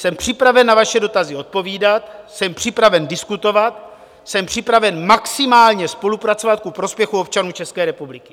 Jsem připraven na vaše dotazy odpovídat, jsem připraven diskutovat, jsem připraven maximálně spolupracovat ku prospěchu občanů České republiky.